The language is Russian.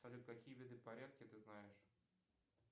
салют какие виды порядки ты знаешь